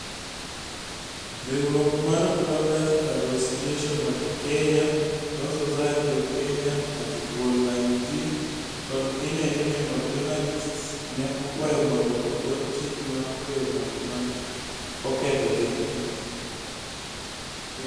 Riwruok mar Bloggers Association of Kenya, Law Society of Kenya, Article 19 kod Kenya Union of Journalists ne okwayo mondo ogol chik mar tweyo ng'at ma ne oketho chikno.